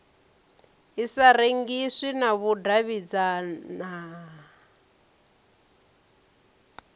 i sa rengiswi na vhudavhidzano